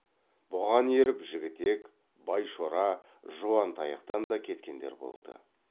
бұған еріп жігітек байшора жуантаяқтан да кеткендер болды